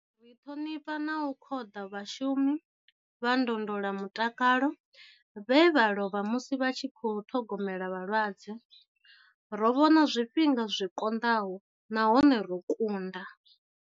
Ri ṱhonifha na u khoḓa vhashumi vha ndondolamutakalo vhe vha lovha musi vha tshi khou ṱhogomela vhalwadze. Ro vhona zwifhinga zwi konḓaho nahone ro kunda.